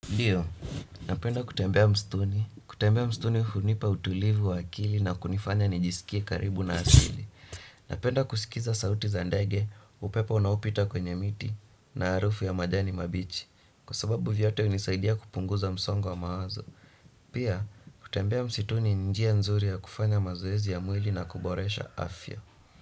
Ndiyo, napenda kutembea msituni, kutembea msituni hunipa utulivu wa akili na kunifanya nijisikie karibu na asili. Napenda kusikiza sauti za ndage, upepo unaopita kwenye miti, na arufu ya majani mabichi. Kwa sababu yote unisaidia kupunguza msongo wa mawazo. Pia, kutembea msituni ni njia nzuri ya kufanya mazoezi ya mwili na kuboresha afya.